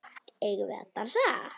Eigum við að dansa?